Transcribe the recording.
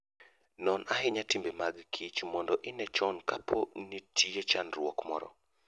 Non ahinya timbe mag kich mondo ine chon kapo ni nitie chandruok moro.